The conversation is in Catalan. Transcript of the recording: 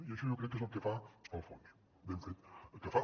i això jo crec que és el que fa el fons i ben fet que fa